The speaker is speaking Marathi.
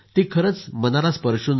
ती मनाला स्पर्शून जाणारी आहे